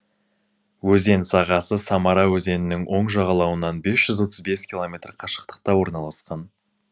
өзен сағасы самара өзенінің оң жағалауынан бес жүз отыз бес километр қашықтықта орналасқан